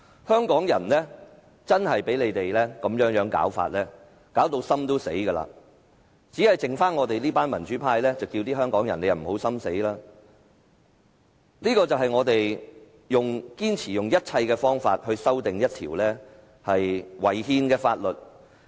香港人被他們這種做法弄至心死，只剩下我們這群民主派呼籲香港人不要心死，這就是我們堅持用盡一切方法來修訂這項違憲的《條例草案》的原因。